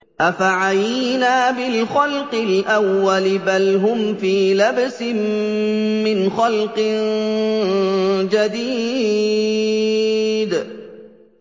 أَفَعَيِينَا بِالْخَلْقِ الْأَوَّلِ ۚ بَلْ هُمْ فِي لَبْسٍ مِّنْ خَلْقٍ جَدِيدٍ